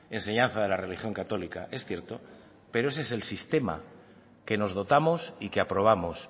enseñanza de la religión católica es cierto pero ese es el sistema que nos dotamos y que aprobamos